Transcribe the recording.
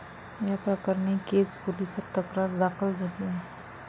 याप्रकरणी केज पोलिसात तक्रार दाखल झाली आहे.